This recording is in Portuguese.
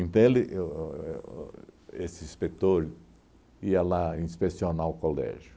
ele o o o o esse inspetor ia lá inspecionar o colégio.